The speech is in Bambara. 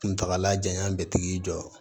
Kuntagalajan bɛ tigi jɔ